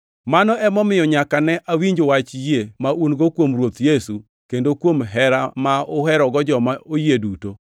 Mano emomiyo, nyaka ne awinj wach yie ma un-go kuom Ruoth Yesu kendo kuom hera ma uherogo joma oyie duto,